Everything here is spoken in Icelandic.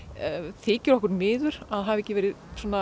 þykir okkur miður að það hafi ekki verið